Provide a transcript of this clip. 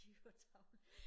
De var taget